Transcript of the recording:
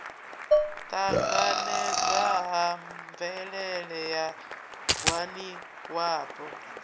ṱanganedzwa ha mvelele ya ngwaniwapo